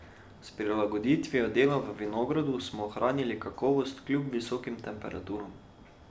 S prilagoditvijo dela v vinogradu smo ohranili kakovost kljub visokim temperaturam.